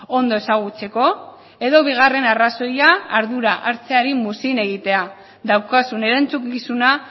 ondo ezagutzeko edo bigarren arrazoia ardura hartzeari muzin egitea daukazun erantzukizuna